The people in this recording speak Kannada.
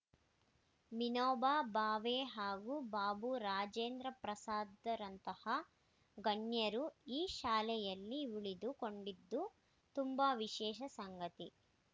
ವಿನೋಬಾ ಬಾವೆ ಹಾಗೂ ಬಾಬು ರಾಜೇಂದ್ರಪ್ರಸಾದರಂತಹ ಗಣ್ಯರು ಈ ಶಾಲೆಯಲ್ಲಿ ಉಳಿದು ಕೊಂಡಿದ್ದು ತುಂಬಾ ವಿಶೇಷ ಸಂಗತಿ